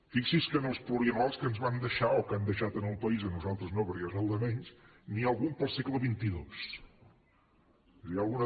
fixi’s que en els plurianuals que ens van deixar o que han deixat al país a nosaltres no perquè és el de menys n’hi ha algun per al segle xxii és a dir hi ha alguna